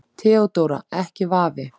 THEODÓRA: Ekki vafi.